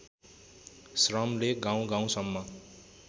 श्रमले गाउँ गाउँसम्म